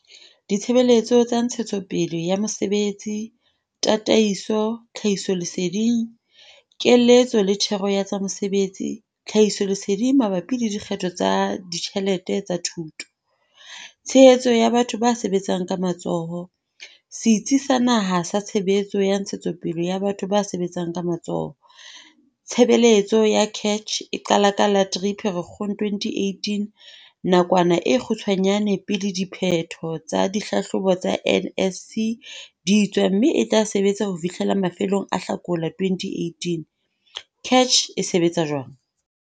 Ditshebeletso tsa ntshetsopele ya mosebetsi, tataiso, tlhahisoleseding, keletso le thero ya tsa mesebetsi-tlhahisoleseding mabapi le dikgetho tsa ditjhelete tsa thuto. Tshehetso ya batho ba sebetsang ka matsoho - Setsi sa Naha sa Tshehetso ya Ntshetsopele ya Batho ba Sebetsang ka Matsoho. Tshebeletso ya CACH eqala ka la 3 Pherekgong 2018, nakwana e kgutshwanyane pele diphetho tsa dihlahlobo tsa NSC di tswa mme e tla sebetsa ho fihlela mafelong a Hlakola 2018. CACH e sebetsa jwang?